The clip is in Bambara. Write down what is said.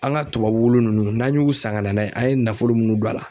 An ka tubabu wulu nunnu n'an y'u san ka na n'a ye an ye nafolo minnu don a la